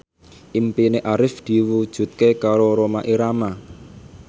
impine Arif diwujudke karo Rhoma Irama